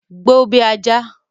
Gbó bí ajá!